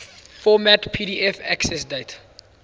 format pdf accessdate